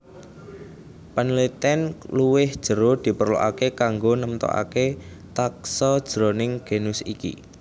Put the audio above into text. Panelitèn luwih jero diperlokaké kanggo nemtokaké taxa jroning genus iki